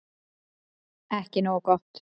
Ekki nógu gott